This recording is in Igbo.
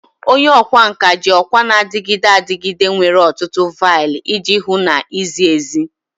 Onye ọkwá nkà ji ọkwa na-adịgide adịgide nwere ọtụtụ vial iji hụ na izi ezi.